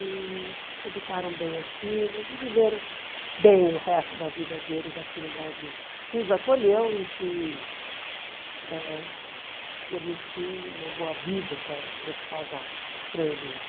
E educaram bem as filhas e viveram bem o resto da vida deles aqui no Brasil, que os acolheu e que ãh permitiu uma boa vida para para esse casal estrangeiro.